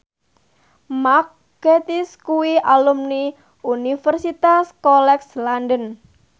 Mark Gatiss kuwi alumni Universitas College London